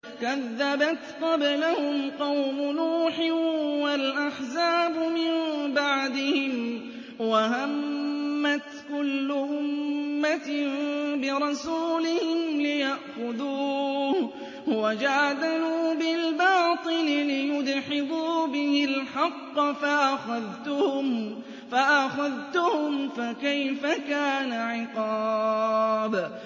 كَذَّبَتْ قَبْلَهُمْ قَوْمُ نُوحٍ وَالْأَحْزَابُ مِن بَعْدِهِمْ ۖ وَهَمَّتْ كُلُّ أُمَّةٍ بِرَسُولِهِمْ لِيَأْخُذُوهُ ۖ وَجَادَلُوا بِالْبَاطِلِ لِيُدْحِضُوا بِهِ الْحَقَّ فَأَخَذْتُهُمْ ۖ فَكَيْفَ كَانَ عِقَابِ